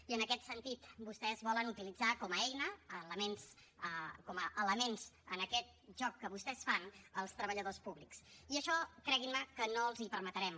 i en aquest sentit vostès volen utilitzar com a eina com a elements en aquest joc que vostès fan els treballadors públics i això creguin me que no els hi permetrem